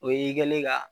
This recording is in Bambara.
O y'i kɛlen ye ka